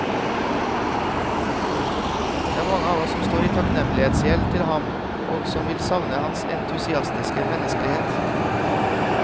Det er mange av oss som står i takknemlighetsgjeld til ham og som vil savne hans entusiastiske menneskelighet.